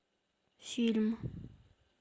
фильм